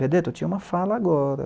Benedetto, eu tinha uma fala agora.